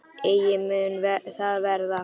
Eigi mun það verða.